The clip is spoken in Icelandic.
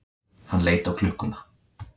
Hann leit á klukkuna.